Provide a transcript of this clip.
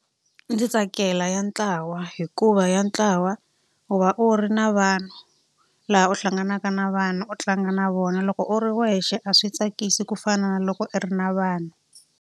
Ndzi tsakela ya ntlawa hikuva ya ntlawa u va u ri na vanhu, laha u hlanganaka na vanhu u tlanga na vona. Loko u ri wexe a swi tsakisi ku fana na loko i ri na vanhu.